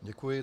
Děkuji.